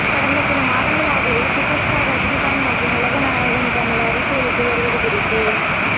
கடந்த சில மாதங்களாகவே சூப்பர் ஸ்டார் ரஜினிகாந்த் மற்றும் உலகநாயகன் கமல் அரசியலுக்கு வருவது குறித்து